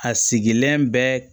A sigilen bɛ